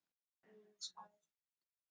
Eldjárn, spilaðu lagið „Krómkallar“.